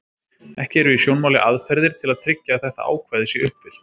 Ekki eru í sjónmáli aðferðir til að tryggja að þetta ákvæði sé uppfyllt.